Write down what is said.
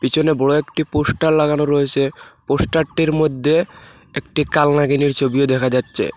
পিছনে বড়ো একটি পোস্টার লাগানো রয়েসে পোস্টারটির মদ্যে একটি কালনাগিনীর ছবিও দেখা যাচ্ছে।